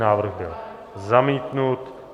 Návrh byl zamítnut.